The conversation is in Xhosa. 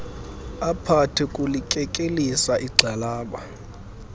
aphathe kulikekelisa igxalaba